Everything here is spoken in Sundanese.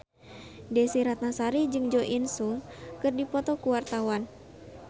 Desy Ratnasari jeung Jo In Sung keur dipoto ku wartawan